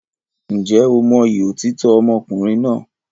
Ǹjẹ́ o mọyì òtítọ́ ọmọkùnrin náà?